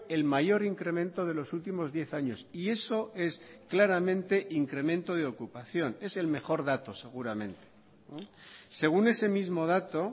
el mayor incremento de los últimos diez años y eso es claramente incremento de ocupación es el mejor dato seguramente según ese mismo dato